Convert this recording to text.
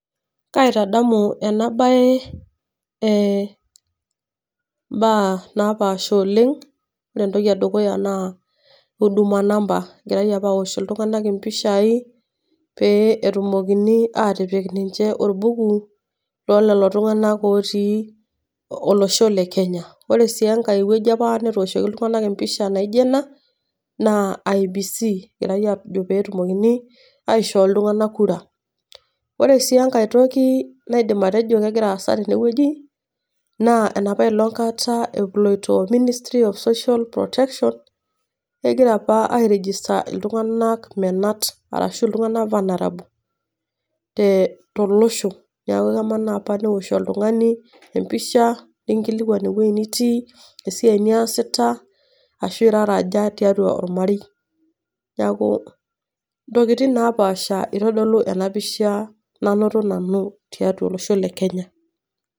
Kaitadamu ena bae imbaa napaasha oleng'. Ore entoki e dukuya naa Huduma number, egirai opa aosh iltung'ana empishai pee etumoki atipik ninche olbuku loo lelo tung'ana ootii olosho le Kenya. Ore sii enkai wueji opa netooshieki iltung'ana empisha naijo ena, naa IEBC naa pee etumokini aishoo iltung'ana kura . Ore sii enkai toki naidim atejo kegira aasa tenewueji, naa ena along' kata eloito Ministry of social protection, kegira opa airegista iltung'ana menat arashu iltung'ana apa neaku ena ewuo aaosh oltung'ani empisha nekinkilikwani ewueji netii, esiai niasita ashu irara aja tiatua olmarei. Neeaku intokitin napaasha eitadolu ena pisha nainoto nanu tiatua olosho le Kenya